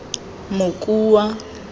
mokua